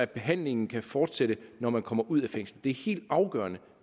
behandlingen kan fortsætte når man kommer ud af fængslet det er helt afgørende